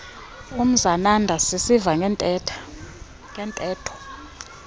umzananda sisiva ngeentetho